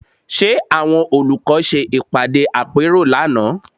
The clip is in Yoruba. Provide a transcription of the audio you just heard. Ṣe àwọn olùkọ́ ṣe ìpàdé àpérò lánàá?